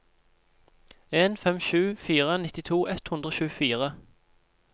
en fem sju fire nittito ett hundre og tjuefire